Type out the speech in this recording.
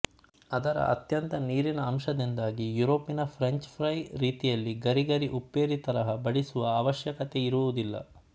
ಅದರ ಅತ್ಯಂತ ನೀರಿನ ಅಂಶದಿಂದಾಗಿ ಯುರೋಪಿನ ಫ್ರೆಂಚ್ ಫ್ರೈ ರೀತಿಯಲ್ಲಿ ಗರಿ ಗರಿ ಉಪ್ಪೇರಿ ತರಹ ಬಡಿಸುವ ಅವಶ್ಯಕತೆಯಿರುವುದಿಲ್ಲ